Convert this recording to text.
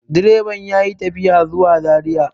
direban ya yi tafiya zuwa zariya